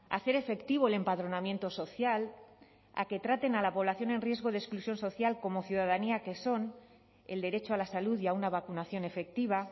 hacer efectivo el empadronamiento social a que traten a la población en riesgo de exclusión social como ciudadanía que son el derecho a la salud y a una vacunación efectiva